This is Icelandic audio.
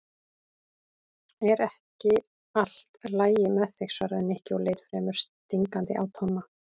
Er ekki allt lagi með þig? svaraði Nikki og leit fremur stingandi á Tomma.